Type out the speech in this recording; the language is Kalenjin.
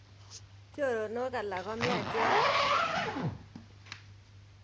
Choronok alak komiachen